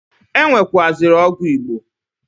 E nwekwuaziri ọgwụ Igbo.